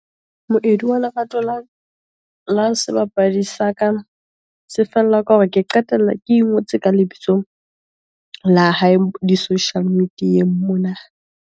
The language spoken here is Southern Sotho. Moedi wa lerato la sebapadi sa ka, se fella ka hore ke qetella ke ingotse ka lebitso la hae, di social media-eng mona.